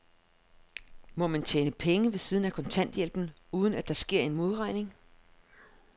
Må man tjene penge ved siden af kontanthjælpen, uden at der sker en modregning?